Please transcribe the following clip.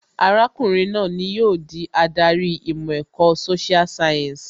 Arákùnrin náà ni yóò di adarí ìmọ̀ ẹ̀kọ́ social science